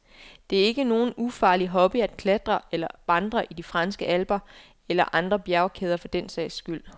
Det er ikke nogen ufarlig hobby at klatre eller vandre i de franske alper, eller andre bjergkæder for den sags skyld.